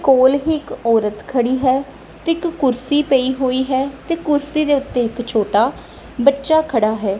ਕੋਲ ਹੀ ਇੱਕ ਔਰਤ ਖੜੀ ਹੈ ਤੇ ਇੱਕ ਕੁਰਸੀ ਪਈ ਹੋਈ ਹੈ ਤੇ ਕੁਰਸੀ ਦੇ ਉੱਤੇ ਇੱਕ ਛੋਟਾ ਬੱਚਾ ਖੜਾ ਹੈ।